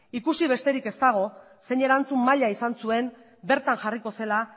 ikusi besterik ez dago zein erantzun maila izan zuen bertan jarriko zela